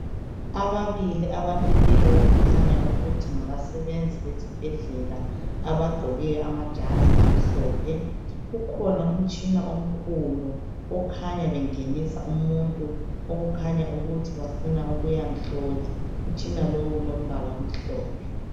Ababili abamileyo okukhanya ukuthi ngabasebenzi besibhedlela abagqoke amajazi amhlophe. Kukhona umtshina omkhulu okukhanya bengenisa umuntu okhanya ukuthi bafuna ukuyamhlola. Umtshina lowu ngomhlophe.